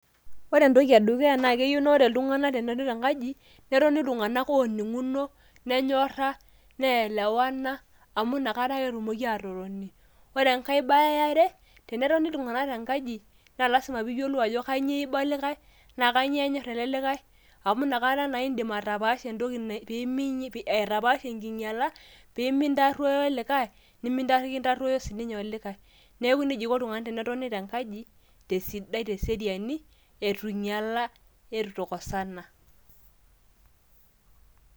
Ore entoki e dukuya naa keyiu naa ore iltung`anak tenebo tenkaji netoni iltung`anak ooning`uno, nenyorra, ne elewana amu inakata ake etumoki aatotoni. Ore enkae bae e are naa tenetoni iltung`anak tenkaji naa lazima pee iyiolou ajo, kainyioo eiba o likae naa kainyioo enyorr ele likae. Amu inakata naa idim atapaasha enkinyiala pe mintaruo olikae nimikintaruo sii ninye olikae. Neeku nejia eiko iltung`anak tenetoni te nkaji tesidai te seriani eitu einyiala neitu eikosana.